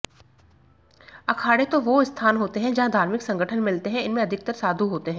अखाड़े वो स्थान होते हैं जहां धार्मिक संगठन मिलते हैं इनमें अधिकतर साधु होते हैं